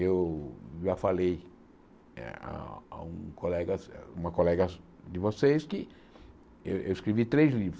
Eu já falei eh ah a um colega uma colega de vocês que eu eu escrevi três livros.